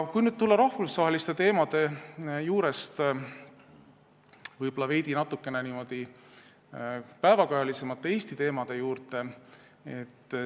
Nüüd tulen rahvusvaheliste teemade juurest veidi päevakajalisemate Eesti teemade juurde.